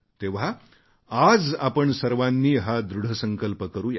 तेव्हा आज आपण सर्वांनी हा दृढ संकल्प करूया